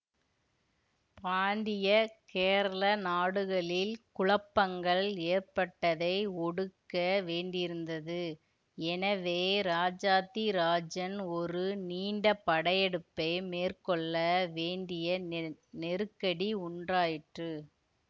பாண்டிய கேரள நாடுகளில் குழப்பங்கள் ஏற்பட்டதை ஒடுக்க வேண்டியிருந்தது எனவே இராஜாத்திராஜன் ஒரு நீண்ட படையெடுப்பை மேற்கொள்ள வேண்டிய நெருக்கடி உண்ராயிற்று